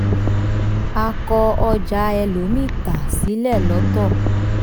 a kọ ọjà ẹlòmíì tà sílẹ̀ lọ́tọ̀.